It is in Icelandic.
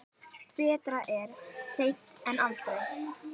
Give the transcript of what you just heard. Betra er seint en aldrei!